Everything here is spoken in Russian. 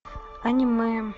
аниме